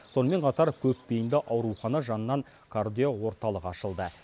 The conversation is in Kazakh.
сонымен қатар көпбейінді аурухана жанынан кардиоорталық ашылды